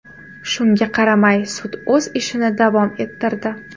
Shunga qaramay, sud o‘z ishini davom ettirdi.